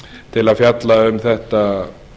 til að fjalla um þetta